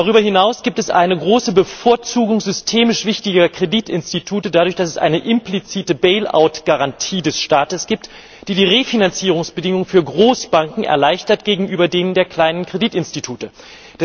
Darüber hinaus gibt es eine große Bevorzugung systemisch wichtiger Kreditinstitute dadurch, dass es eine implizite Bailout Garantie des Staates gibt, die die Refinanzierungsbedingungen für Großbanken gegenüber denen der kleinen Kreditinstitute erleichtert.